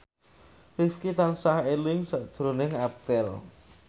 Rifqi tansah eling sakjroning Abdel